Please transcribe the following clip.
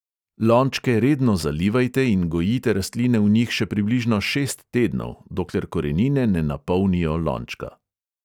Lončke redno zalivajte in gojite rastline v njih še približno šest tednov – dokler korenine ne napolnijo lončka.